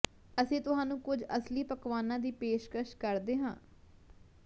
ਅਸੀਂ ਤੁਹਾਨੂੰ ਕੁਝ ਅਸਲੀ ਪਕਵਾਨਾਂ ਦੀ ਪੇਸ਼ਕਸ਼ ਕਰਦੇ ਹਾਂ